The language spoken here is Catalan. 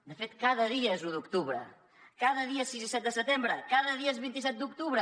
de fet cada dia és u d’octubre cada dia és sis i set de setembre cada dia és vint set d’octubre